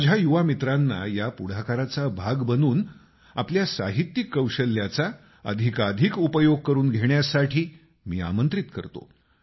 माझ्या युवा मित्रांना या पुढाकाराचा भाग बनून आपल्या साहित्यिक कौशल्याचा अधिकाधिक उपयोग करून घेण्यासाठी मी आमंत्रित करतो